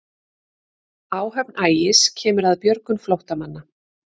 Áhöfn Ægis kemur að björgun flóttamanna